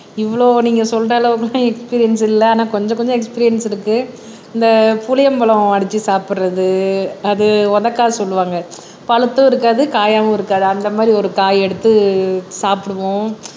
இவ்வளவு நீங்க சொல்ற அளவுக்கெல்லாம் எஸ்பிரின்ஸ் இல்லை ஆனா கொஞ்சம் கொஞ்சம் எஸ்பிரின்ஸ் இருக்கு அந்த புளியம்பழம் அடிச்சு சாப்பிடுறது அது உதக்காய் சொல்லுவாங்க பழுத்தும் இருக்காது காயாவும் இருக்காது அந்த மாதிரி ஒரு காயை எடுத்து சாப்பிடுவோம்